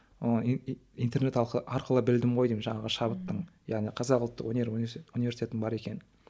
оны интернет арқылы білдім ғой деймін жаңағы шабыттың яғни қазақ ұлттық өнер университет университетінің бар екенін